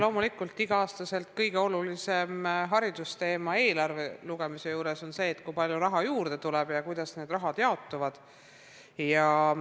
Loomulikult on igal aastal eelarve lugemisel kõige olulisem haridusteema see, kui palju raha juurde tuleb ja kuidas see raha jaotub.